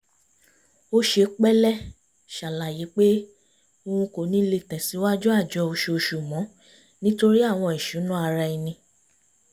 ó ṣe pẹ́lẹ́ ṣàlàyé pé òun kò ní le tẹ̀sìwájú àjọ oṣooṣù mọ́ nítorí àwọn ìṣúná ara ẹni